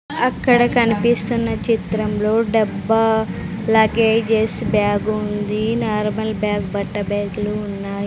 అక్కడ కన్పిస్తున్న చిత్రంలో డబ్బా లగేజెస్ బ్యాగు ఉంది నార్మల్ బ్యాగ్ బట్ట బ్యాగ్లు ఉన్నాయ్.